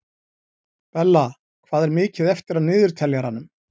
Bella, hvað er mikið eftir af niðurteljaranum?